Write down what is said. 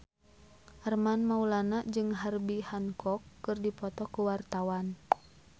Armand Maulana jeung Herbie Hancock keur dipoto ku wartawan